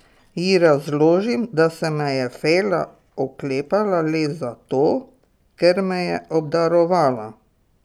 Ji razložim, da se me je Fela oklepala le zato, ker me je obdarovala.